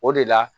O de la